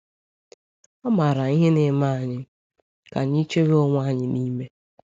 Ọ maara ihe na-eme anyị ka anyị chewe onwe anyị n’ime.